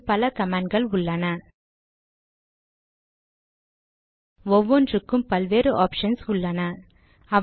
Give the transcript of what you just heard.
லினக்ஸில் பல கமாண்ட் கள் உள்ளன ஒவ்வொன்றுக்கும் பல வேறு ஆப்ஷன்ஸ் உள்ளன